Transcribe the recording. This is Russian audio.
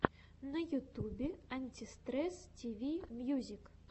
на ютубе антистресс тиви мьюзик